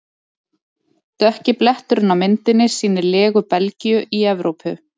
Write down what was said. Dökki bletturinn á myndinni sýnir legu Belgíu í Evrópu.